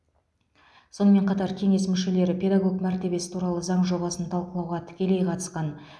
сонымен қатар кеңес мүшелері педагог мәртебесі туралы заң жобасын талқылауға тікелей қатысқан